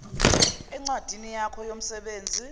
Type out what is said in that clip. encwadini yakho yomsebenzi